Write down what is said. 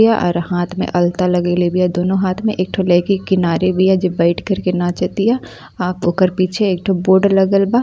य अर हाथ में अलता लगइले बिया। दोनों हाथ में एक ठो लईकी किनारे बिया जे बईठ करके नाचतिया। आ ओकर पीछे एक ठो बोर्ड लगल बा।